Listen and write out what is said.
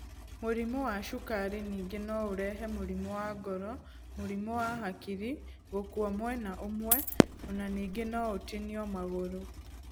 Mũrimũ wa cukari ningĩ no ũrehe mũrimũ wa ngoro, mũrimũ wa hakiri gũkua mwena ũmwe ona ningĩ no ũtinio magũrũ.